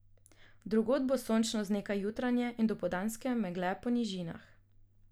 Drugod bo sončno z nekaj jutranje in dopoldanske megle po nižinah.